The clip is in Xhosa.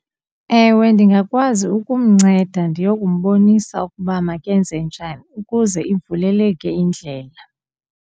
Ewe, ndingakwazi ukumnceda ndiyokumbonisa ukuba makenze njani ukuze ivuleleke indlela.